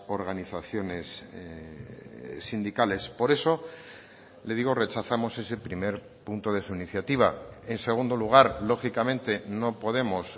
organizaciones sindicales por eso le digo rechazamos ese primer punto de su iniciativa en segundo lugar lógicamente no podemos